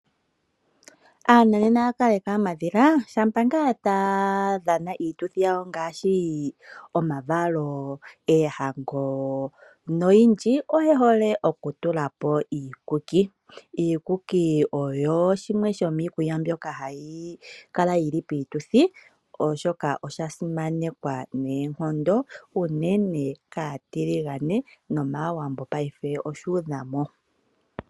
Aantu shampa taya dhana iituthi yawo ngaashi omavalo ,oohango noyindji oyehole oku tulapo iikuki. Iikuku oyo shimwe shomiinima mmbyoka hayi kala yili piituthi oshoka osha simanekwa noonkondo unene kaatiligane nomaawambo oyeshi hole.